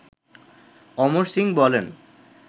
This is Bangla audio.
অমর সিং বলেন